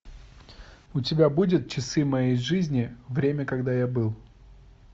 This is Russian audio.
у тебя будет часы моей жизни время когда я был